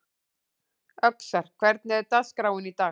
Öxar, hvernig er dagskráin í dag?